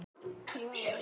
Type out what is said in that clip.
Hvers vegna spyrðu?